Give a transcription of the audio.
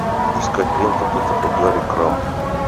искать ленту кто такой гарри крамб